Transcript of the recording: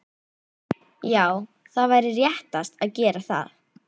Já það væri réttast að gera það.